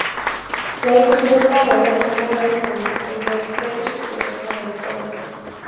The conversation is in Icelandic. Leikirnir í dag eru ekki af verri endanum, enda eru tveir íslendingaslagir í boði.